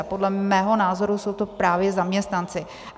A podle mého názoru jsou to právě zaměstnanci.